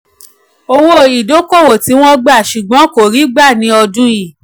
owó-ìdókòwò tí wọ́n gbà ṣùgbọ́n kò rí gbà ni ọdún yìí.